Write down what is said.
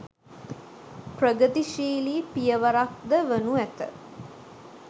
ප්‍රගතිශීලී පියවරක් ද වනු ඇත.